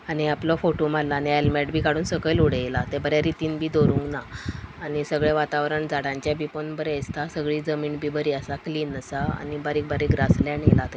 आणि आपलो फोटो मारला आणि हेल्मेट बी काडून सकेल उडेला ते बरे रीतींन बी दवरूंना आणि सगळे वातावरण झाडांचे बी पोळोन बरे दिसता सगळी जमीन बी बरी आसा क्लीन आसा आणि बारीक बारीक ग्रासलेंड येला थंय.